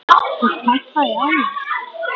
Og pompa í ána?